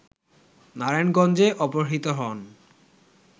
নারায়ণগঞ্জে অপহৃত হন